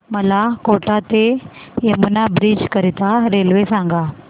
मला कोटा ते यमुना ब्रिज करीता रेल्वे सांगा